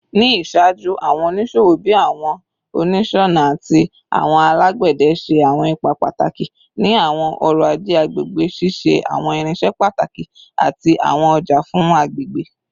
Ni iṣaaju, awọn oniṣowo bii awọn oniṣọna ati awọn alagbẹdẹ ṣe awọn ipa pataki ni awọn ọrọ-aje agbegbe, ṣiṣe awọn irinṣẹ pataki ati awọn ọja fun agbegbe